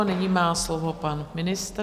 A nyní má slovo pan ministr.